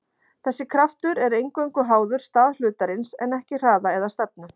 Þessi kraftur er eingöngu háður stað hlutarins en ekki hraða eða stefnu.